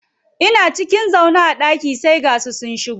Ina cikin zaune a ɗaki sai ga su sun shigo.